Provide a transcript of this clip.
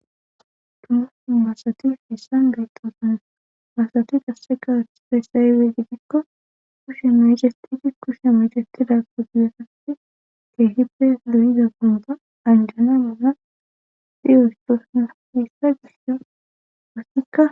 dumu basati hessa gayxosana basati qassega feysayyppe gigikko kushe mecestidi kushe mecestida ku diyesati keehippe durida gunta anjana gana xiyoystoosna heessa gisso assikka